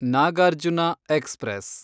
Nagarjuna express